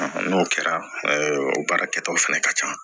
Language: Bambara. N'o kɛra o baara kɛtaw fɛnɛ ka ca